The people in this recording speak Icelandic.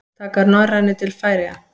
Taka Norrænu til Færeyja?